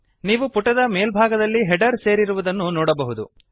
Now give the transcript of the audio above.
ನೀವು ಪುಟದ ಮೇಲ್ಭಾಗದಲ್ಲಿ ಹೆಡರ್ ಸೇರಿರುವುದನ್ನು ನೋಡಬಹುದು